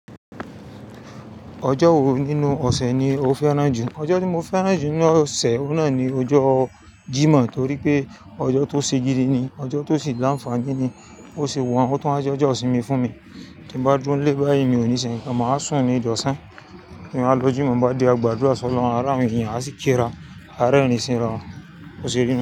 Ọjọ́ wo nínú ọ̀sẹ̀ ni o fẹ́ràn jù? Ọjọ́ tí mo fẹ́ràn jù nínú ọ̀sẹ̀, òun náà ni ọjọ́ Jímọ̀ torí pé ọjọ́ tó ṣe gidi ni, ọjọ́ tó sì lanfani ni. Ó sì wàhun, ó tún wá jẹ́ ọjọ́ ìsinmi fún mi. Ti mo bá dúró nílé báyìí mi ò ní sẹ ǹkan, màá sùn ní ìdọ̀sán. Ti mo bá lọ Jímọ̀ nbá de agbàdúrà sọ'lohun àa rawọ́n enìyẹn, a sì kí ra, a rẹ́rìn ín síran. Ó ṣeé ni.